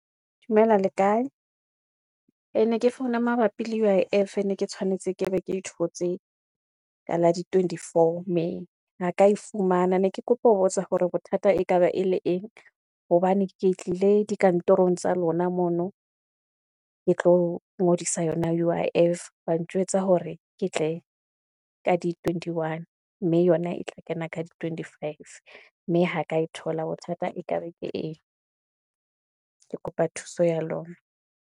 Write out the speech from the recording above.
Dumela le kae? E ne ke founa mabapi le U_I_F e ne ke tshwanetse ke be ke thotse, ka la di-twentyfour May ha ka e fumana ne ke kopa ho botsa hore bothata e ka ba e le eng, hobane ke tlile dikantorong tsa lona mono ke tlo ngodisa yona U_I_F, ba ntjwetsa hore ke tle ka di-twentyone, mme yona e tla kena ka di-twentyfive mme ha ka e thola bothata e ka be ke eng, ke kopa thuso ya lona.